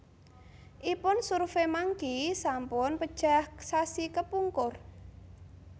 ipun SurveyMonkey sampun pejah sasi kepungkur